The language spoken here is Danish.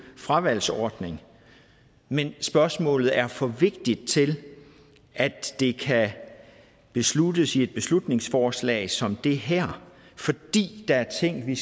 fravalgsordning men spørgsmålet er for vigtigt til at det kan besluttes i et beslutningsforslag som det her fordi der er ting vi